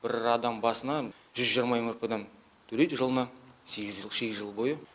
бір адам басына жүз жиырма мрп дан төлейді жылына сегіз жыл бойы